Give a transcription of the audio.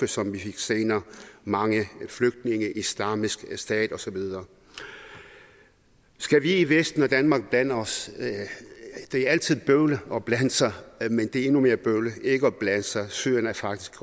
som vi fik senere mange flygtninge islamisk stat og så videre skal vi i vesten og danmark blande os det er altid bøvlet at blande sig men det er endnu mere bøvlet ikke at blande sig syrien er faktisk